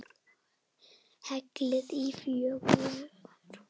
Hellið í fjögur glös.